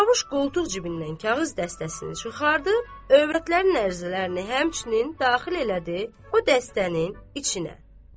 Çarxış qoltuq cibindən kağız dəstəsini çıxartdı, övrətlərin ərizələrini həmçinin daxil elədi o dəstənin içinə.